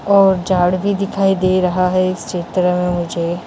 और झाड़ भी दिखाई दे रहा है इस चित्र में मुझे।